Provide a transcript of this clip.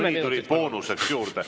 Siis ma palun lisaaega.